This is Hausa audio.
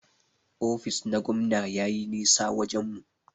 Ofis na gwamna yayi nisa wajen mu.